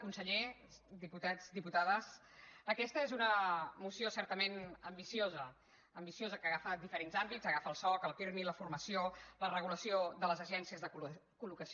conseller diputats diputades aquesta és una moció certament ambiciosa ambiciosa que agafa diferents àmbits agafa el soc el pirmi la formació la regulació de les agències de col·locació